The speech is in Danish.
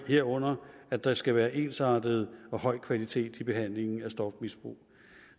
herunder at der skal være ensartet og høj kvalitet i behandlingen af stofmisbrug